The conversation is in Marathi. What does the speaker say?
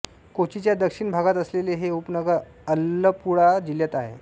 कोचीच्या दक्षिण भागात असलेले हे उपनगर अलप्पुळा जिल्ह्यात आहे